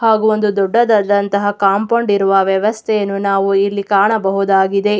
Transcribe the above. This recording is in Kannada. ಹಾಗು ಒಂದು ದೊಡ್ಡದಾದಂಥ ಕಾಂಪೌಂಡ್ ಇರುವ ವ್ಯವಸ್ಥೆಯನ್ನು ನಾವು ಇಲ್ಲಿ ಕಾಣಬುದಾಗಿದೆ.